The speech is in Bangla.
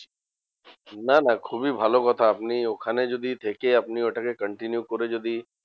না না খুবই ভালো কথা, আপনি ওখানে যদি থেকে আপনি ওটাকে continue করে যদি